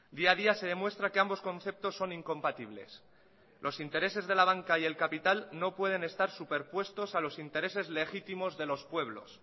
día a día se demuestra que ambos conceptos son incompatibles los intereses de la banca y el capital no pueden estar superpuestos a los intereses legítimos de los pueblos